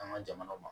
An ka jamanaw ma